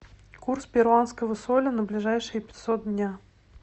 курс перуанского соля на ближайшие пятьсот дня